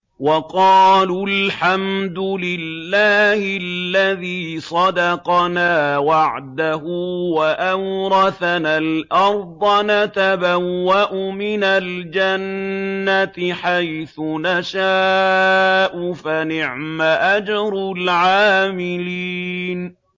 وَقَالُوا الْحَمْدُ لِلَّهِ الَّذِي صَدَقَنَا وَعْدَهُ وَأَوْرَثَنَا الْأَرْضَ نَتَبَوَّأُ مِنَ الْجَنَّةِ حَيْثُ نَشَاءُ ۖ فَنِعْمَ أَجْرُ الْعَامِلِينَ